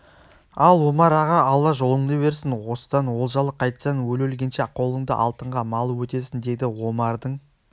ал омар аға алла жолыңды берсін осыдан олжалы қайтсаң өле-өлгенше қолыңды алтынға малып өтесің деді омардың